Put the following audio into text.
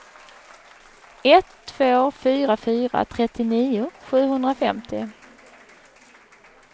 ett två fyra fyra trettionio sjuhundrafemtio